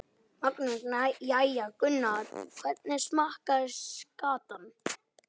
Magnús: Jæja Gunnar, hvernig smakkast skatan?